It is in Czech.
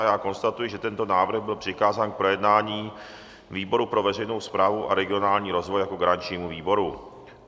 A já konstatuji, že tento návrh byl přikázán k projednání výboru pro veřejnou správu a regionální rozvoj jako garančnímu výboru.